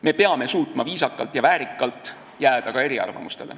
Me peame suutma ka eriarvamustele jääda viisakalt ja väärikalt.